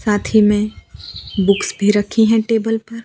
साथ ही में बुक्स भी रखी हैं टेबल पर।